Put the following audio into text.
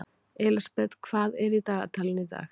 Elísabet, hvað er í dagatalinu í dag?